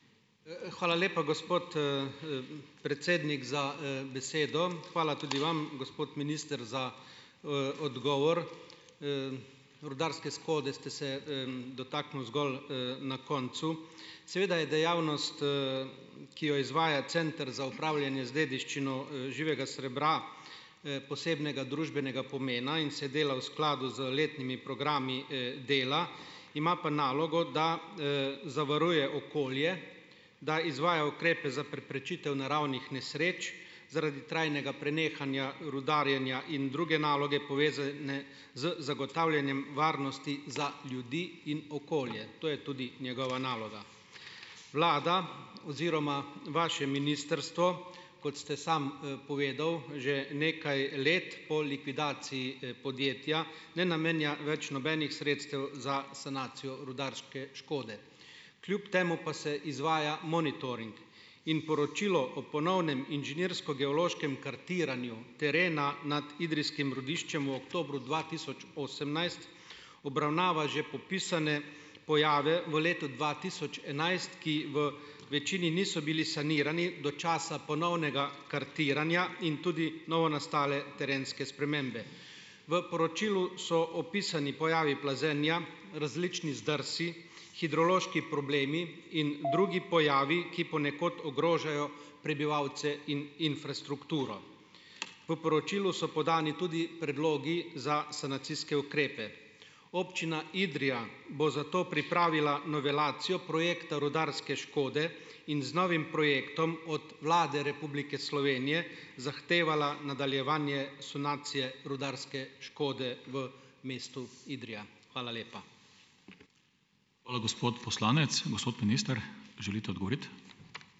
hvala lepa, gospod, predsednik za, besedo. Hvala tudi vam , gospod minister, za, odgovor. rudarske shode ste se, dotaknil zgolj, na koncu. Seveda je dejavnost, ki jo izvaja Center za upravljanje z dediščino, živega srebra, posebnega družbenega pomena in se dela v skladu z letnimi programi, dela, ima pa nalogo, da, zavaruje okolje, da izvaja ukrepe za preprečitev naravnih nesreč zaradi trajnega prenehanja rudarjenja in druge naloge povezane z zagotavljanjem varnosti za ljudi in okolje. To je tudi njegova naloga . Vlada oziroma vaše ministrstvo, kot ste sam, povedal, že nekaj let po likvidaciji, podjetja, ne namenja več nobenih sredstev za sanacijo rudarske škode. Kljub temu pa se izvaja monitoring. In poročilo ob ponovnem inženirsko-geološkem kartiranju terena nad idrijskim rudiščem v oktobru dva tisoč osemnajst obravnava že popisane pojave v letu dva tisoč enajst, ki v večini niso bili sanirani do časa ponovnega kartiranja in tudi novonastale terenske spremembe. V poročilu so opisani pojavi plazenja, različni zdrsi, hidrološki problemi in drugi pojavi, ki ponekod ogrožajo prebivalce in infrastrukturo. V poročilu so podani tudi predlogi za sanacijske ukrepe. Občina Idrija bo zato pripravila novelacijo projekta rudarske škode in z novim projektom od Vlade Republike Slovenije zahtevala nadaljevanje sanacije rudarske škode v mestu Idrija. Hvala lepa. Hvala, gospod poslanec. Gospod minister, želite odgovoriti?